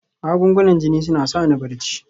Magungunan jini suna sa ni barci